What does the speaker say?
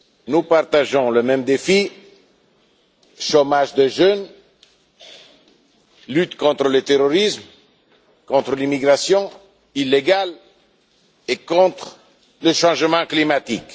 Nous partageons les mêmes défis chômage des jeunes, lutte contre le terrorisme, contre l'immigration illégale et contre le changement climatique.